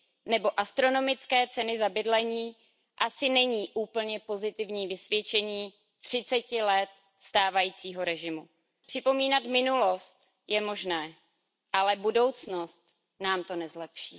nebo astronomické ceny za bydlení asi není úplně pozitivní vysvědčení třiceti let stávajícího režimu. Připomínat minulost je možné, ale budoucnost nám to nezlepší.